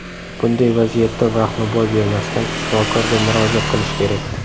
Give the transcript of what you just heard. Bunday vaziyatda vaqtni boy bermasdan, shifokorga murojaat qilish kerak.